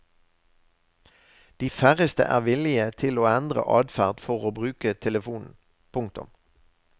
De færreste er villige til å endre adferd for å bruke telefonen. punktum